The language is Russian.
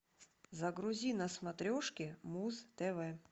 загрузи на смотрешке муз тв